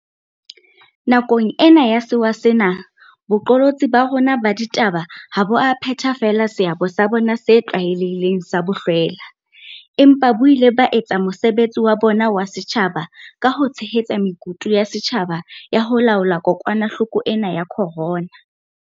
Nakong ena ya sewa sena, boqolotsi ba rona ba ditaba ha bo a phetha feela seabo sa bona se tlwaelehileng sa bohlwela, empa bo ile ba etsa mosebetsi wa bona wa setjhaba ka ho tshehetsa mekutu ya setjhaba ya ho laola kokwanahloko ena ya corona.